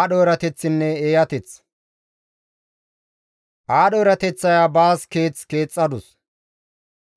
Aadho erateththaya baas keeth keexxadus;